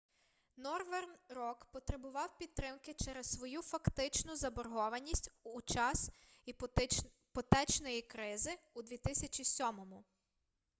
норверн рок потребував підтримки через свою фактичну заборгованість під час іпотечної кризи у 2007